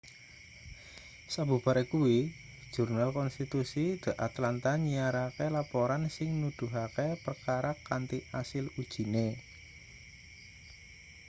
sabubare kuwi jurnal-konstitusi the atlanta nyiarake laporan sing nuduhake perkara kanthi asil ujine